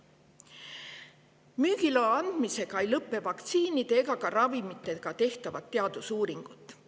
Müügiloa andmisega ei lõpe vaktsiinide ega ravimitega tehtavad teadusuuringud.